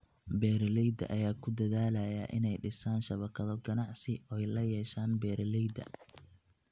Beeralayda ayaa ku dadaalaya inay dhisaan shabakado ganacsi oo ay la yeeshaan beeralayda.